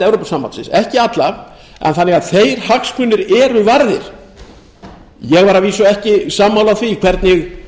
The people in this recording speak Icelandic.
evrópusambandsins ekki alla en þannig að þeir hagsmunir eru varðir ég var að vísu ekki sammála því hvernig